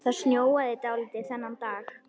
Það snjóaði dálítið þennan dag.